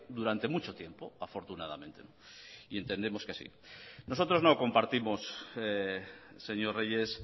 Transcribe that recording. durante mucho tiempo afortunadamente y entendemos que así nosotros no compartimos señor reyes